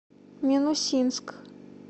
минусинск